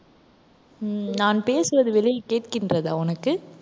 உம் நான் பேசுவது வெளியில் கேட்கின்றதா உனக்கு?